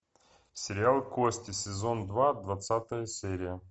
сериал кости сезон два двадцатая серия